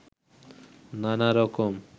নানা রকম